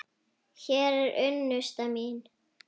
Hún er unnusta mín!